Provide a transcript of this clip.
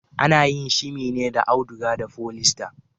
Ana yin shimi ne da auduga da folista.